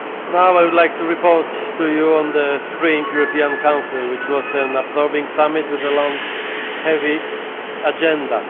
Now I would like to report to you on the Spring European Council which was an absorbing summit with a long, heavy agenda.